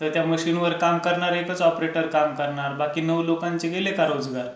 तर त्या मशीन वर काम करणारा एकच ऑपरेटर काम करणार. बाकी नऊ लोकांचे गेले का रोजगार.